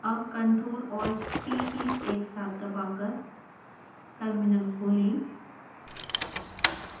अब ctrl+alt+t keys एक साथ दबाकर टर्मिनल खोलें